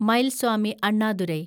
Mylswamy Annadurai